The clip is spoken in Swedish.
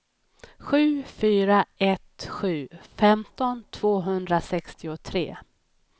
sju fyra ett sju femton tvåhundrasextiotre